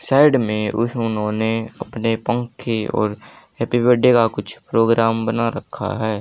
Side में उस उन्होंने अपने पंखे और हैप्पी बर्थडे का कुछ प्रोग्राम बना रखा है।